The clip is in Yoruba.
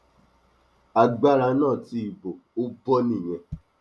agbára náà ti bò ó bọ nìyẹn